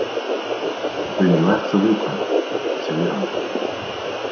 Guðný þú ert svo viðkvæm, segir hann.